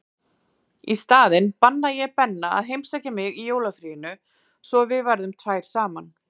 Í staðinn banna ég Benna að heimsækja mig í jólafríinu svo við verðum tvær saman.